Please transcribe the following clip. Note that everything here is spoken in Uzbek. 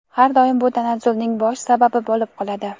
har doim bu tanazzulning bosh sababi bo‘lib qoladi.